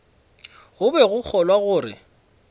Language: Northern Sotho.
go be go kgolwa gore